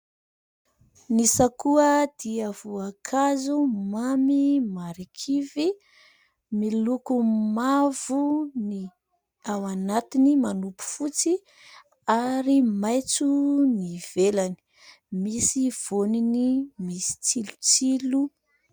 Ny sakoa dia voankazo mamy marikivy. Miloko mavo ny ao anatiny, manopy fotsy, ary maitso ny ivelany. Misy voniny misy tsilotsilo.